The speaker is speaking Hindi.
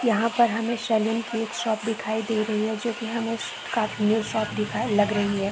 यहाँ पर हमें सलून की एक शॉप दिखाई दे रही है जो की हमें शॉप दिखाएँ लग रही है।